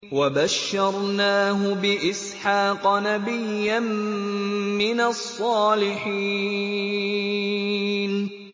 وَبَشَّرْنَاهُ بِإِسْحَاقَ نَبِيًّا مِّنَ الصَّالِحِينَ